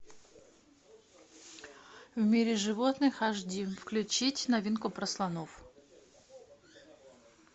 в мире животных ашди включить новинку про слонов